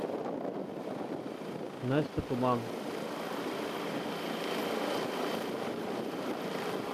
настя туман